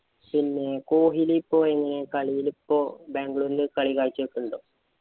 പിന്നെ കൊഹിലി ഇപ്പൊ എങ്ങനെയാ കളിയിലിപ്പോ ബാംഗ്ലൂരില് കളി കാഴ്ച വയ്ക്കണുണ്ടോ?